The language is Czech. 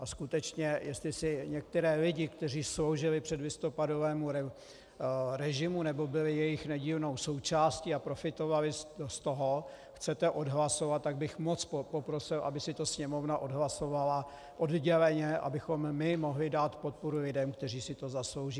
A skutečně jestli si některé lidi, kteří sloužili předlistopadovému režimu nebo byli jeho nedílnou součástí a profitovali z toho, chcete odhlasovat, tak bych moc poprosil, aby si to Sněmovna odhlasovala odděleně, abychom my mohli dát podporu lidem, kteří si to zaslouží.